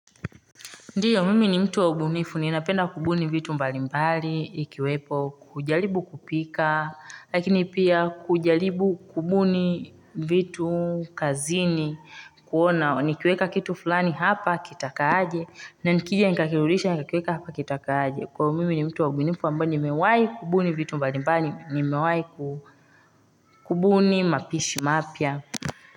Ndiyo, mimi ni mtu wa ubunifu, ninapenda kubuni vitu mbalimbali, ikiwepo, kujaribu kupika, lakini pia kujaribu kubuni vitu kazini, kuona, nikiweka kitu fulani hapa, kitakaa aje, na nikija nikakirudisha, nikakiweka hapa, kitakaa aje. Kwa hio mimi ni mtu wa ubunifu, ambayo nimewahi kubuni vitu mbalimbali, nimewahi kubuni mapishi mapya.